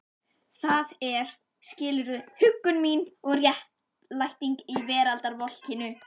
Það er, skilurðu, huggun mín og réttlæting í veraldarvolkinu.